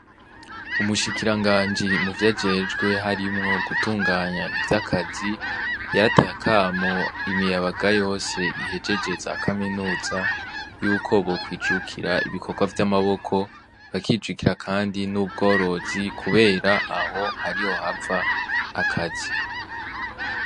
Umushikira nganji mu vyo ajejwe harimwo gutunganya ivyo akazi yarateye akamo imiyabaga yose ihejeje za kaminuza yuko bokwijukira ibikorwa vy'amaboko bakijukira, kandi n'ubworozi, kubera aho hariho hava akazi.